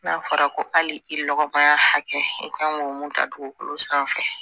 N'a fɔra ko hali i ɔgɔmaya hakɛ i kan k'o mun ta dugukolo sanfɛ